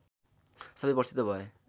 सबै प्रसिद्ध भए